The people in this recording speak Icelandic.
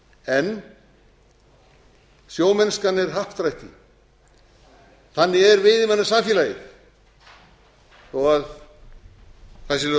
en sjómennskan er happdrætti þannig er veiðimannasamfélagið þó það sé lögð